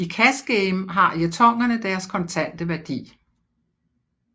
I cash game har jetonerne deres kontante værdi